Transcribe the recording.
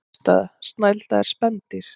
Niðurstaða: Snælda er spendýr.